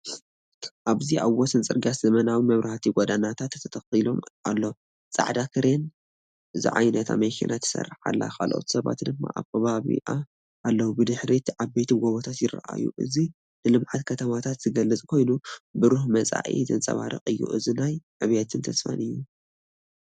ኣብዚ ኣብ ወሰን ጽርግያ ዘመናዊ መብራህቲ ጎደናታት ተተኺሉ ኣሎ። ጻዕዳ ክሬን ዝዓይነታ መኪና ትሰርሕ ኣላ፡ካልኦት ሰባት ድማ ኣብ ከባቢኣ ኣለዉ። ብድሕሪት ዓበይቲ ጎቦታት ይረኣዩ። እዚ ንልምዓት ከተማታት ዝገልጽ ኮይኑ፡ብሩህ መጻኢ ዘንጸባርቕ እዩ። እዚ ናይ ዕብየትን ተስፋን እዩ።